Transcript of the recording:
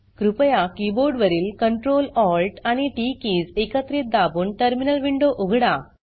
कृपया कीबोर्ड वरील Ctrl Alt आणि टीटी कीज एकत्रित दाबून टर्मिनल विंडो उघडा